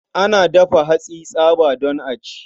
Ana dafa hatsi tsaba don a ci.